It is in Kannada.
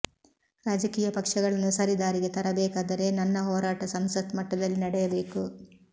ರಾಜಕೀಯ ಪಕ್ಷಗಳನ್ನು ಸರಿದಾರಿಗೆ ತರಬೇಕಾದರೆ ನನ್ನ ಹೋರಾಟ ಸಂಸತ್ ಮಟ್ಟದಲ್ಲಿ ನಡೆಯಬೇಕು